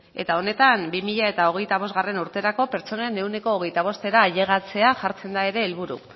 eta honetan bi mila hogeita bost urterako pertsonen ehuneko hogeita bostera ailegatzea jartzen da ere helburu